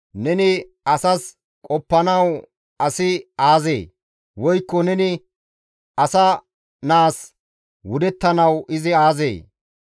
neni asas qoppanawu asi aazee? Woykko neni asa naas wudettanawu izi aazee?